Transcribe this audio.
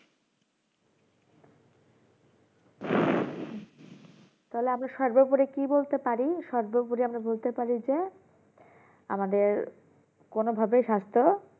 তাহলে আমরা সর্বোপরি কি বলতে পারি সর্বোপরি আমরা বলতে পারি যে আমাদের কোনো ভাবে সাস্থ